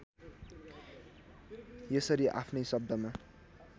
यसरी आफ्नै शब्दमा